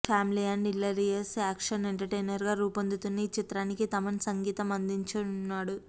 family and hilarious action entertainer గా రూపొందుతున్న ఈచిత్రానికి తమన్ సంగీతం అందించనున్నాడు